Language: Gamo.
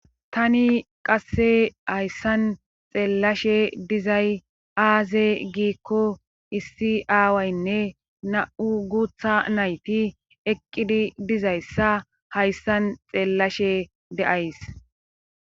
tani qasse hayssan xeellashe dizay aaze giikko issi aawaynne na7u guutha nayti eqqidi dizayssa hayssan xeellashe de7ays